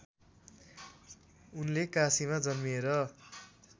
उनले काशीमा जन्मिएर